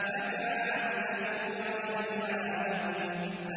مَّتَاعًا لَّكُمْ وَلِأَنْعَامِكُمْ